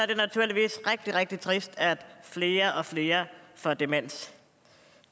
det naturligvis rigtig rigtig trist at flere og flere får demens